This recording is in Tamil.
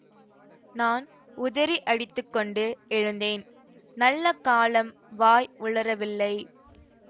நான் உதறியடித்துக்கொண்டு எழுந்தேன் நல்ல காலம் வாய் உளறவில்லை